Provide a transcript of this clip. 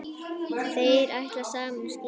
Þeir ætla saman á skíði.